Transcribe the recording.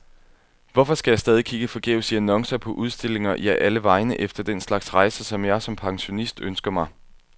Hvorfor skal jeg stadig kigge forgæves i annoncer, på udstillinger, ja, alle vegne, efter den slags rejser, som jeg som pensionist ønsker mig?